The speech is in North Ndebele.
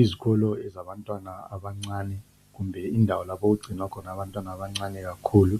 Izikolo zabantwana abancane , kumbe indawo lapho okugcinwa khona abantwana abancane kakhulu